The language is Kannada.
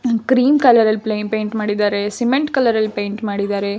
ಕ್ರೀಮ್ ಕಲರ್ ಅಲ್ಲಿ ಪೈಂಟ್ ಮಾಡಿದ್ದಾರೆ ಸಿಮೆಂಟ್ ಕಲರ್ ಅಲ್ಲಿ ಪೈಂಟ್ ಮಾಡಿದ್ದಾರೆ.